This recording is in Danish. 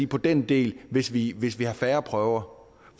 på den del hvis vi hvis vi har færre prøver